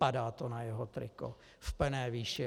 Padá to na jeho triko v plné výši.